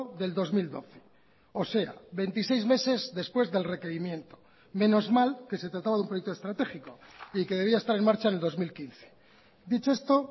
del dos mil doce o sea veintiséis meses después del requerimiento menos mal que se trataba de un proyecto estratégico y que debía estar en marcha en el dos mil quince dicho esto